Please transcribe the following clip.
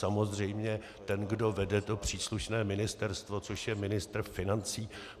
Samozřejmě ten, kdo vede to příslušné ministerstvo, což je ministr financí.